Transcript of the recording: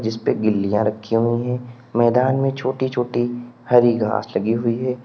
जिसपे गिल्लियां रखी हुई है मैदान में छोटी छोटी हरी घास लगी हुई है।